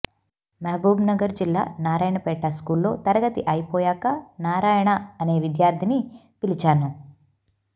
మహబూబ్నగర్ జిల్లా నారాయణపేట స్కూల్లో తరగతి అయిపోయాక నారాయణ అనే విద్యార్థిని పిలిచాను